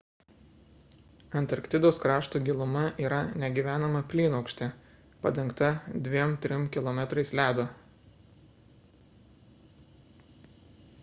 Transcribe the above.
antarktidos krašto giluma yra negyvenama plynaukštė padengta 2–3 km ledo